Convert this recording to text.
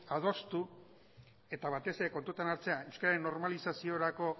adostu eta batez ere kontutan hartzea euskararen normalizaziorako